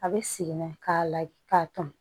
A bɛ segin ka na k'a la k'a ton